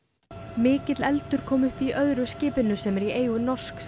mikill eldur kom upp í öðru skipinu sem er í eigu norsks